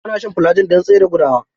Ana shan filajil don tsaida gudawa.